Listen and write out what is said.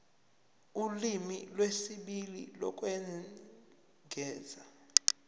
ulimi lwesibili lokwengeza